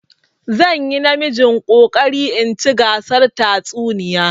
Zan yi namijin ƙoƙarin in ci gasar tatsuniya.